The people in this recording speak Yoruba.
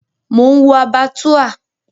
Mò ń wo Abattoir.